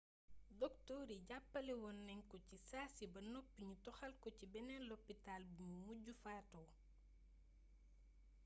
doktoor yi jàppale woon nañ ko ci saasi ba noppi ñu toxal ko ci beneen lopitaal bimu mujj fatoo